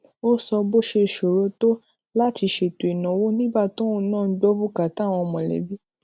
ó sọ bó ṣe ṣòro tó láti ṣètò ìnáwó nígbà tóun náà ń gbó bùkátà àwọn mòlébí